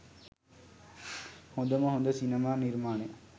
හොදම හොද සිනමා නිර්මාණයක්.